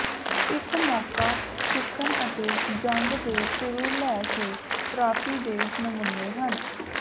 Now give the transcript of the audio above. ਇੱਕ ਮੌਕਾ ਸਿੱਖਣ ਅਤੇ ਜੰਗ ਦੇ ਸ਼ੁਰੂ ਲੈ ਕੇ ਟਰਾਫੀ ਦੇ ਨਮੂਨੇ ਹਨ